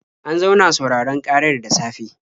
An zauna sauraron ƙarar da safe.